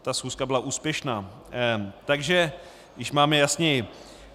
Ta schůzka byla úspěšná, takže již máme jasněji.